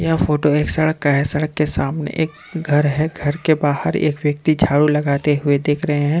यह फोटो एक सड़क का है सड़क के सामने एक घर है घर के बाहर एक व्यक्ति झाड़ू लगाते हुए दिख रहे हैं।